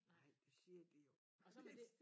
Nej det siger de jo det